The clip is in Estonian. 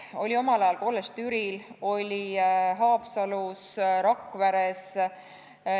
Oli omal ajal kolledž Türil, oli Haapsalus, Rakveres.